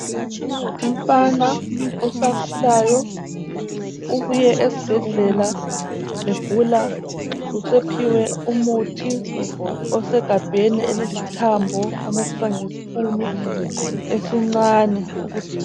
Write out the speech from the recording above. Umfana osakhulayo ubuye esibhedlela egula usephiwe umuthi osegabheni elili thambo onathiswa ngesipunu esincane ukuthi .